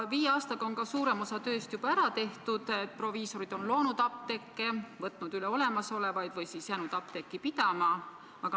Viie aastaga on suurem osa tööst juba ära tehtud, proviisorid on loonud apteeke, võtnud üle olemasolevaid apteeke või jäänud neid apteeke pidama.